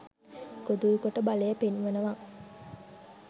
ගොදුරු කොට බලය පෙන්වනවා.